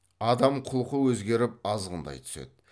адам құлқы өзгеріп азғындай түседі